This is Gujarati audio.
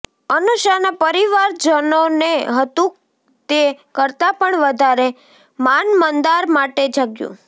અનુષાના પરિવારજનોને હતું તે કરતાં પણ વધારે માન મંદાર માટે જાગ્યું